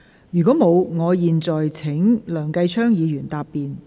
如果沒有，我現在請梁繼昌議員答辯。